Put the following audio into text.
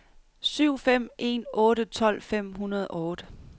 syv fem en otte tolv fem hundrede og otte